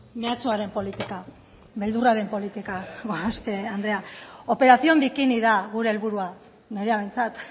meatsuaren politika beldurraren politika gorospe andrea operación bikini da gure helburua nirea behintzat